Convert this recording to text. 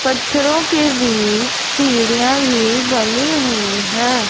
पत्थरों के बीच सीढ़ियां भी बनी हुई है।